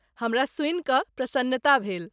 हमरा सुनि कऽ प्रसन्नता भेल।